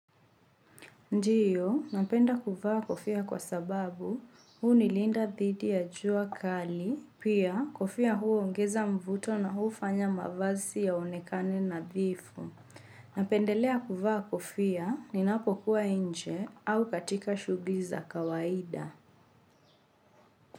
Ndiyo, napenda kuvaa kofia kwa sababu, hunilinda dhidi ya jua kali, pia kofia huongeza mvuto na hufanya mavazi yaoekane nadhifu. Napendelea kuvaa kofia ninapokuwa inje au katika shugli za kawaida.